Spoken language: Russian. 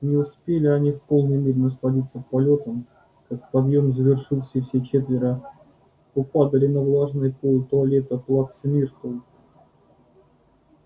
не успели они в полной мере насладиться полётом как подъём завершился и все четверо попадали на влажный пол туалета плаксы миртл